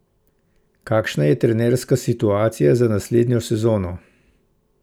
Kakšna je trenerska situacija za naslednjo sezono?